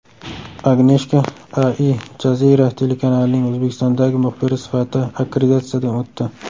Agneshka Al Jazeera telekanalining O‘zbekistondagi muxbiri sifatida akkreditatsiyadan o‘tdi .